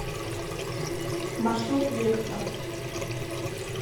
маршрут вектра